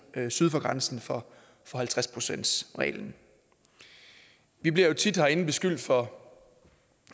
syd for grænsen for halvtreds procentsreglen vi bliver jo tit herinde beskyldt for